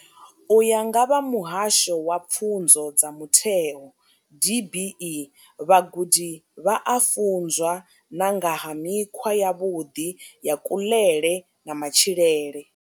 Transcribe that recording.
U ya nga vha muhasho wa pfunzo dza mutheo DBE, vhagudi vha a funzwa na nga ha mikhwa yavhuḓi ya kuḽele na matshilele.